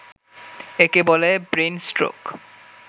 একে বলে brain stroke